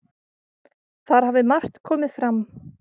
Þar hafi margt komið fram.